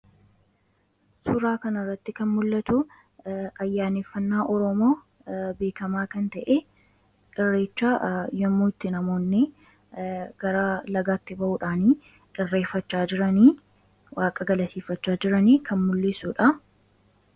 Suuraa kanarratti kan mul'atu ayyaaneffannaa Oromoo beekamaa kan ta'e, Irreecha, yommuu itti namoonni gara lagaatti ba'uudhaani galateeffachaa jiranii waaqa galateeffachaa jiranii kan mul'isuu dhaa.